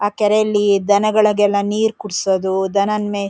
ಆ ಕೆರೆಯಲ್ಲಿ ದನಗಳ್ ಗೆಲ್ಲ ನೀರ್ ಕುಡ್ಸೋದು ದನನ್ ಮೇ--